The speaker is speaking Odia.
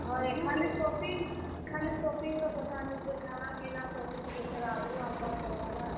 ହଏ ଖାଲି shopping ଖାଲି shopping ର କଥା ନି ସେ ଖାନା, ପିନା ସବୁ ଟିକେ ଆଘରୁ ଆନବାର୍ ପଡ୍ ବା ନା!